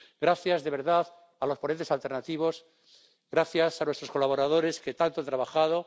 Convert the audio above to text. Gracias de verdad a los ponentes alternativos y gracias a nuestros colaboradores, que tanto han trabajado.